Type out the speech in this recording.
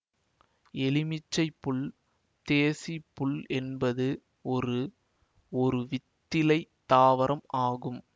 எலுமிச்சைப் புல்தேசிப் புல் என்பது ஒரு ஒருவித்திலைத் தாவரம் ஆகும்